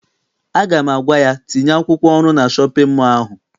Aga m agwa ya, tinye akwụkwọ ọrụ na shọpịn mọọ ahụ!